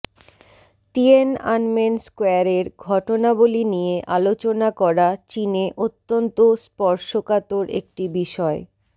Tiananmen স্কয়ারের ঘটনাবলী নিয়ে আলোচনা করা চীনে অত্যন্ত স্পর্শকাতর একটি বিষয়